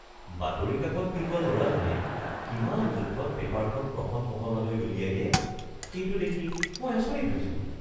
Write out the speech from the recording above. বাতৰি কাকত বিলোৱা ল'ৰাজনে কিমান জোখত পেপাৰখন প্ৰথম মহলালৈ দলিয়াই দিয়ে, সেইটো দেখি মই আচৰিত হৈছো।